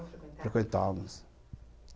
É, frequentávamos.